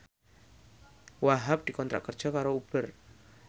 Wahhab dikontrak kerja karo Uber